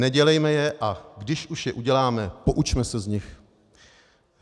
Nedělejme je, a když už je uděláme, poučme se z nich.